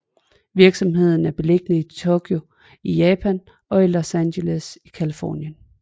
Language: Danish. Virksomheden er beliggende i Tokyo i Japan og i Los Angeles i Californien